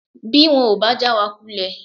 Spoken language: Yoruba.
Bí wọn ò bá já wa kulẹ̀